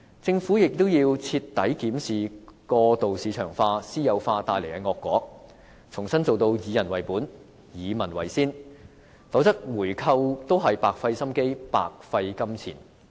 政府也要徹底檢視過度市場化、私有化帶來的惡果，重新做到以人為本，以民為先，否則回購也是白費心機，白費金錢。